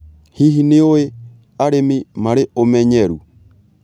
Hihi, nĩ ũĩ arĩmi marĩ ũmenyeru?